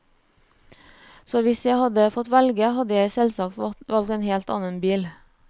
Så hvis jeg hadde fått velge, hadde jeg selvsagt valgt en helt annen bil.